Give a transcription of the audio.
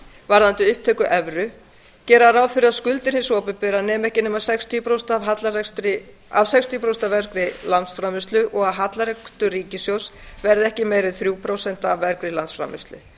varðandi upptöku evru gera ráð fyrir að skuldir hins opinbera nemi ekki meira en sextíu prósent og hallarekstur ríkissjóðs verði ekki meiri en þrjú prósent af vergri landsframleiðslu